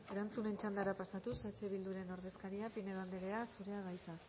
erantzunen txandara pasatuz eh bilduren ordezkaria pinedo andrea zurea da hitza